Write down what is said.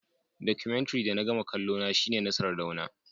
Documentary da na gama kallona shine na sardauna